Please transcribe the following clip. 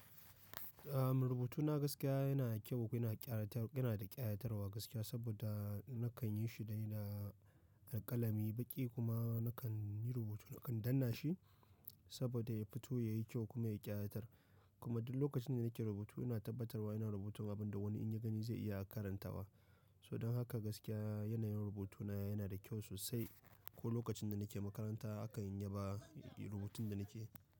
Rubutuna gaskiya yana kyau kuma yana da kayatarwa yana da ƙayatarwa gaskiya saboda nakan yi shi da da alƙalami baƙi kuma nakan yi rubutu nakan danna shi saboda ya fito yayi kyau kuma yayi kayatar Kuma duk lokacin da nake rubutu ina tabbatarwa ina rubutun abin da wani in ya gani zai iya karantawa. So don haka gaskiya yanayin rubutuna yana da kyau sosai. Ko lokacin da nake makaranta aka yaba rubutun da nake.